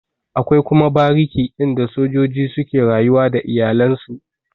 Akwai kuma bariki inda sojoji suke rayuwa da iyalen su.